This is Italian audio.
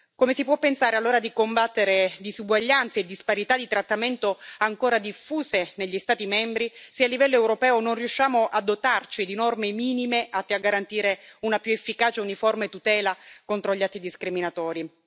Come si può pensare, allora, di combattere disuguaglianze e disparità di trattamento ancora diffuse negli Stati membri se, a livello europeo, non riusciamo a dotarci di norme minime atte a garantire una più efficace uniforme tutela contro gli atti discriminatori?